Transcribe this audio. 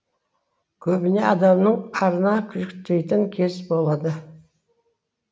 көбіне адамның арына жүктейтін кез болады